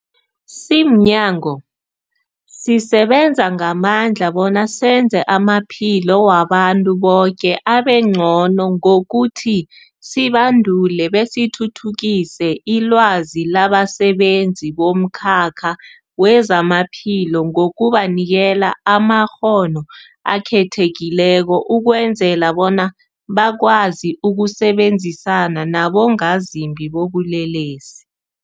Simnyango, sisebenza ngamandla bona senze amaphilo wabantu boke abengcono ngokuthi sibandule besithuthukise ilwazi labasebenzi bomkhakha wezamaphilo ngokubanikela amakghono akhethekileko ukwenzela bona bakwazi ukusebenzisana nabongazimbi bobulelesi.